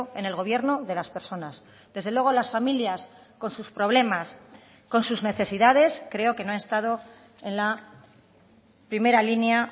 en el gobierno de las personas desde luego las familias con sus problemas con sus necesidades creo que no ha estado en la primera línea